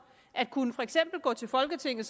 at gå til folketinget